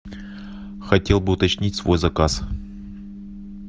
хотел бы уточнить свой заказ